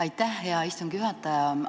Aitäh, hea istungi juhataja!